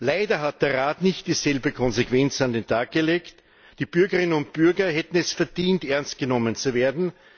Leider hat der Rat nicht dieselbe Konsequenz an den Tag gelegt. Die Bürgerinnen und Bürger hätten es verdient, ernstgenommen zu werden.